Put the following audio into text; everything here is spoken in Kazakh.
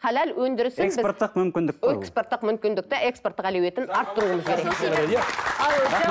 халал өндірісін экспорттық мүмкіндікті экспорттық мүмкіндікті экспорттық әлеуетін арттыруымыз керек